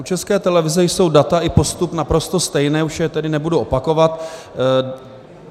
U České televize jsou data i postup naprosto stejné, už je tedy nebudu opakovat.